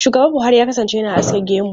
Shugaba Buhari ya kasance yana aske gemu.